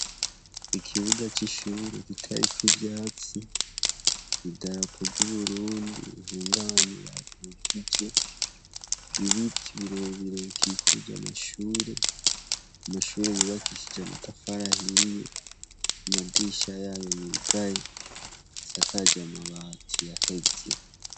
Ikibuga c'ishure kitariko ivyatsi idarapo ry'uburundi ihungabanye batukije ibiti birebirebikikuja amashure amashure yubakishije amatafarahiye amadisha yayo yugaye asakaje amabati yaheze.